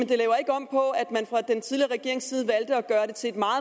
det laver ikke om på at man fra den tidligere regerings side valgte at gøre det til en